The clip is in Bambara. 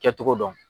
Kɛcogo dɔn